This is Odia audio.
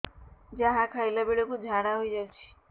ଯାହା ଖାଇଲା ବେଳକୁ ଝାଡ଼ା ହୋଇ ଯାଉଛି